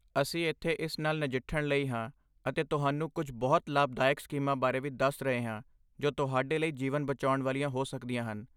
ਅਸੀਂ ਇੱਥੇ ਇਸ ਨਾਲ ਨਜਿੱਠਣ ਲਈ ਹਾਂ ਅਤੇ ਤੁਹਾਨੂੰ ਕੁਝ ਬਹੁਤ ਲਾਭਦਾਇਕ ਸਕੀਮਾਂ ਬਾਰੇ ਵੀ ਦੱਸ ਰਹੇ ਹਾਂ ਜੋ ਤੁਹਾਡੇ ਲਈ ਜੀਵਨ ਬਚਾਉਣ ਵਾਲੀਆਂ ਹੋ ਸਕਦੀਆਂ ਹਨ।